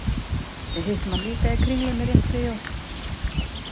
Við hittum hann líka í Kringlunni rétt fyrir jól.